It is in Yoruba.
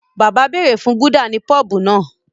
Bàbá béèrè fún Gúdà ní pọ́bù náà